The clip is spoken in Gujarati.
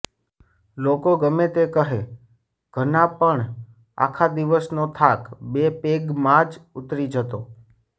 લોકો ગમે તેમ કહે ઘના પણ આખા દિવસનો થાક બે પેગમાં જ ઉતરી જતો